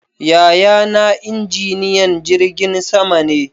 Yaya na injiniyan jirgin sama ne